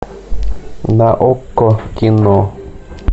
на окко кино